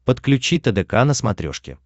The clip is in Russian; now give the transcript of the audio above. подключи тдк на смотрешке